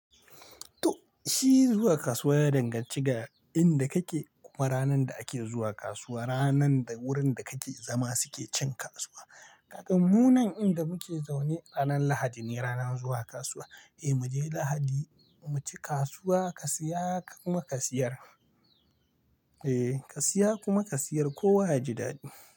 To shi zuwa kasuwa ya danganci ga inda kake kuma ranar da ake zuwa kasuwa, ranar da wurin da kake zama suke cin kasuwa. Kaga mu nan inda muke zaune ranar Lahadi ne ranar zuwa kasuwa. Eh mu je Lahadi mu ci kasuwa ka siya kuma ka siyar. Eh ka siya kuma ka siyar kowa yaji daɗi.